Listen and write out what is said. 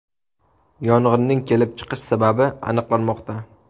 Yong‘inning kelib chiqish sababi aniqlanmoqda.